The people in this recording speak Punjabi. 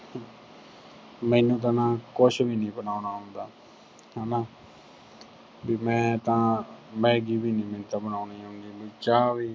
ਮੈਨੂੰ ਤਾਂ ਨਾ ਕੁਝ ਵੀ ਨੀ ਬਣਾਉਣਾ ਆਉਂਦਾ ਹਨਾ ਵੀ ਮੈਂ ਤਾਂ maggi ਵੀ ਨੀ ਮੈਨੂੰ ਤਾਂ ਬਣਾਉਂਦੀ ਆਉਂਦੀ। ਵੀ ਚਾਹ ਵੀ